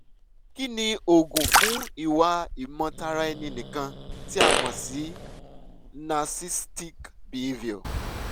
kí ni oògùn fún ìwà ìmọ-tara-ẹni-nìkan tí a mọ̀ sí narcissistic behavior?